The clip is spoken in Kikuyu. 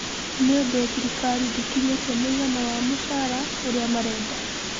Nĩũndũ thirikari ndĩkinyĩtie mũigana wa mũcara ũrĩa marenda.